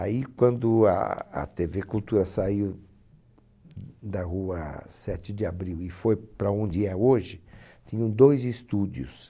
Aí, quando a a Tevê Cultura saiu da Rua Sete de Abril e foi para onde é hoje, tinham dois estúdios.